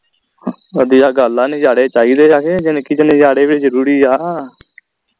ਵਧੀਆ ਗੱਲ ਆ ਨਜਾਰੇ ਚਾਹੀਦੇ ਆ ਕੇ ਜਿੰਦਗੀ ਚ ਨਜਾਰੇ ਵੀ ਜਰੂਰੀ ਆ